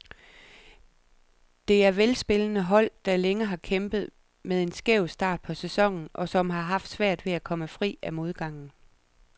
Det er velspillende hold, der længe har kæmpet med en skæv start på sæsonen, og som har haft svært ved at komme fri af modgangen.